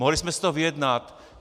Mohli jsme si to vyjednat.